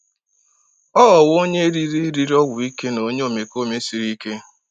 Ọ ghọwo onye riri riri ọgwụ ike na onye omekome siri ike.